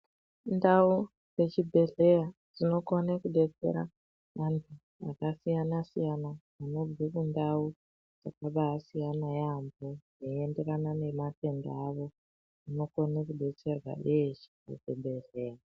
Ndau dzechibhehlera dzinokone kudetsera vantu vakasiyana siyana vanobve kundau dzakabasiyana yaambo zveiyenderana nematend avo vanokone kodetserwa veshe kuzvibhehleya.